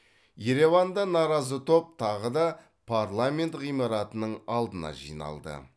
ереванда наразы топ тағы да парламент ғимаратының алдына жиналды